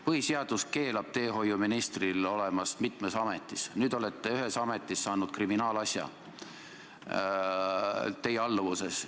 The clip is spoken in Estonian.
Põhiseadus keelab teehoiuministril olla mitmes ametis, nüüd te olete ühes ametis saanud kriminaalasja teie alluvusvaldkonnas.